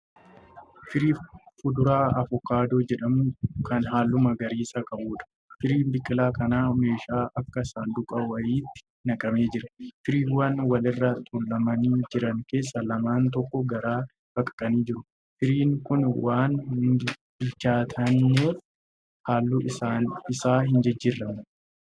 Firii kuduraa avokaadoo jedhamu kan halluu magariisa qabuudha. Firiin biqilaa kanaa meeshaa akka saanduqaa wayitti naqamee jira. Firiiwwan wal irra tuulamanii jiran keessaa lamaan tokko gargar baqaqanii jiru. Firiin kun waan bilchaatneef halluun isaa hin jijjiiramne.